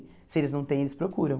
Se eles não têm, eles procuram.